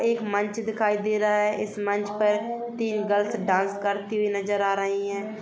एक मंच दिखाई दे रहा है इस मंच पर तीन गर्ल्स डांस करती हुई नजर आ रही हैं।